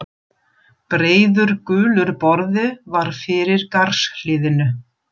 Breiður, gulur borði var fyrir garðshliðinu.